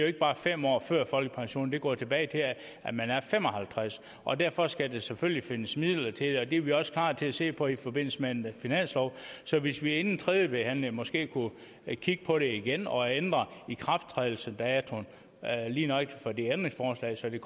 ikke bare er fem år før folkepensionen for det går tilbage til at man er fem og halvtreds år og derfor skal der selvfølgelig findes midler til det og det er vi også klar til at se på i forbindelse med en finanslov så hvis vi inden tredje behandling måske kunne kigge på det igen og ændre ikrafttrædelsesdatoen lige nøjagtig for det ændringsforslag så det